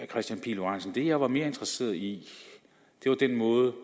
kristian pihl lorentzen det jeg var mere interesseret i var den måde